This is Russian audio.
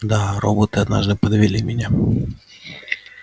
да роботы однажды подвели меня